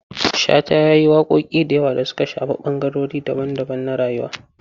Shata ya yi waƙoƙi da yawa da suka shafi ɓangarori daban-daban na rayuwa.